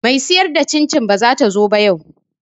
Me siyar da cin cin bazata zo ba yau